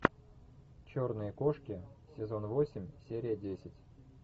черные кошки сезон восемь серия десять